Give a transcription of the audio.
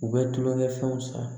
U bɛ tulonkɛ fɛnw san